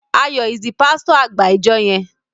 Ayo is the pasito agba ìjọ yén.